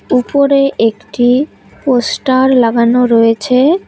উপরে একটি পোস্টার লাগানো রয়েছে।